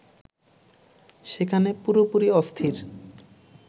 সেখানে পুরোপুরি অস্থির